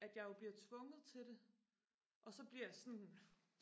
at jeg jo bliver tvunget til det og så bliver jeg sådan